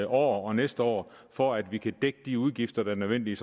år og næste år for at vi kan dække de udgifter der er nødvendige